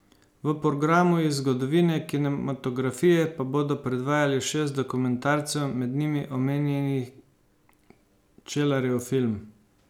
V programu iz zgodovine kinematografije pa bodo predvajali šest dokumentarcev, med njimi omenjeni Čelarjev film.